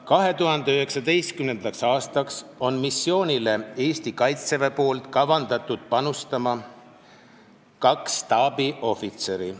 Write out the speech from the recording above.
2019. aastaks on kavandatud, et missioonil osalemisse panustab Eesti Kaitsevägi kahe staabiohvitseriga.